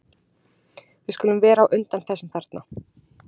Við skulum vera á undan þessum þarna.